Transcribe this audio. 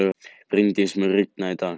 Bryndís, mun rigna í dag?